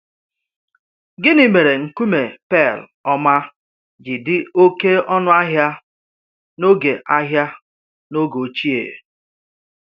Gịnị̀ mèrè nkùmé pè̩l ọ́ma ji dị oké ọnù̀ ahịa n’oge ahịa n’oge ochie?